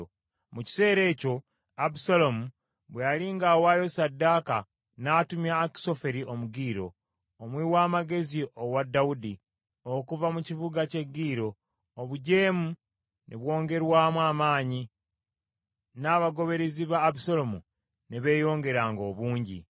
Mu kiseera ekyo, Abusaalomu bwe yali ng’awaayo ssaddaaka, n’atumya Akisoferi Omugiro, omuwi w’amagezi owa Dawudi, okuva mu kibuga ky’e Giro. Obujeemu ne bwongerwamu amaanyi n’abagoberezi ba Abusaalomu ne beeyongeranga obungi.